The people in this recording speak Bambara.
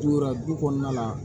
Dura du kɔnɔna la